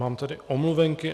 Mám tady omluvenky.